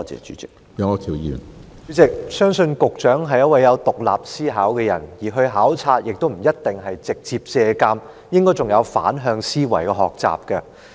主席，我相信局長是有獨立思考的人，前往考察不一定是要直接借鑒，應該還可以有反向思維的學習。